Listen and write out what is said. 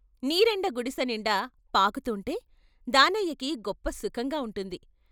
నీరెండ గుడిసెనిండా పాకుతుంటే దానయ్యకి గొప్ప సుఖంగా ఉంటుంది.